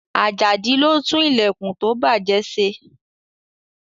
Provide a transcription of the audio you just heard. Ajadi ló tún ìlẹ̀kùn tó bàjẹ́ se.